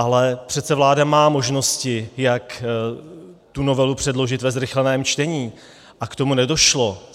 Ale přece vláda má možnosti, jak tu novelu předložit ve zrychleném čtení, a k tomu nedošlo.